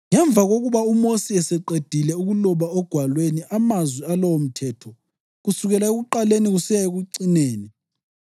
Ngemva kokuba uMosi eseqedile ukuloba ogwalweni amazwi alowomthetho kusukela ekuqaleni kusiya ekucineni,